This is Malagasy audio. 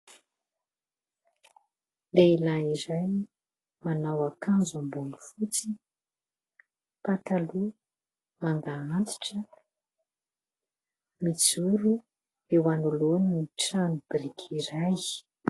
Lehilahy iray manao akanjo amboniny fotsy, pataloha manga antitra. Mijoro eo anoloan'ny tranobiriky iray.